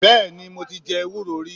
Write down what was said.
Bẹ́ẹ̀ni mo ti je ewúro rí